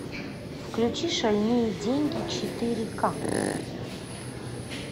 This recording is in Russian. включи шальные деньги четыре ка